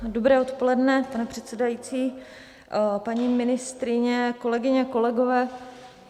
Dobré odpoledne, pane předsedající, paní ministryně, kolegyně, kolegové.